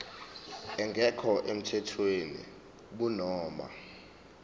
engekho emthethweni kunoma